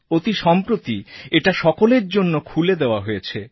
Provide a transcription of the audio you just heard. অতি সম্প্রতি এটা সকলের জন্য খুলে দেওয়া হয়েছে